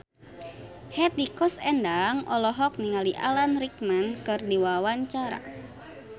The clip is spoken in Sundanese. Hetty Koes Endang olohok ningali Alan Rickman keur diwawancara